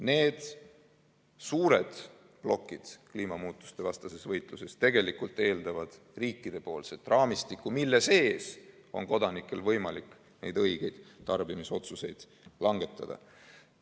Need suured plokid kliimamuutuste vastu peetavas võitluses tegelikult eeldavad riikidelt raamistikku, mille sees on kodanikel võimalik neid õigeid tarbimisotsuseid langetada.